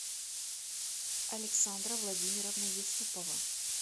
александра владимировна юсупова